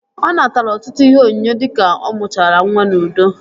Ọ natara ọtụtụ ihe onyinye dika ọ mụchara nwa n'udo